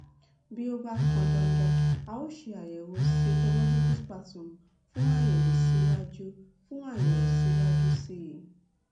bí ó bá pọn dandan a ó ṣe àyẹwò cytological sputum fún àyẹwò síwájú fún àyẹwò síwájú sí i